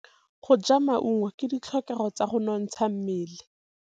Go ja maungo ke ditlhokegô tsa go nontsha mmele.